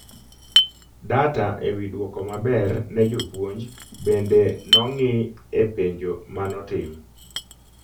Data e wi duoko maber ne jopuonj bende nong'ii e penjo manotim